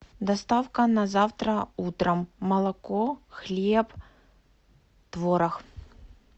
доставка на завтра утром молоко хлеб творог